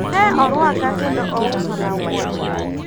ne orwaka kendo ouso na wuoche